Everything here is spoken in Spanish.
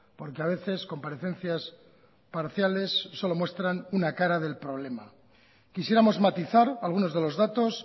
porque a veces comparecencias parciales solo muestran una cara del problema quisiéramos matizar algunos de los datos